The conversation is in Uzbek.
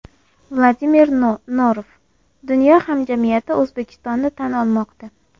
Vladimir Norov: Dunyo hamjamiyati O‘zbekistonni tan olmoqda.